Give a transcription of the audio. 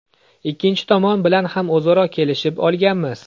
Ikkinchi tomon bilan ham o‘zaro kelishib olganmiz.